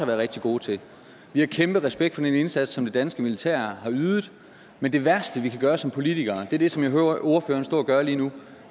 være rigtig gode til vi har kæmpe respekt for den indsats som det danske militær har ydet men det værste vi kan gøre som politikere er det som jeg hører ordføreren stå og gøre lige nu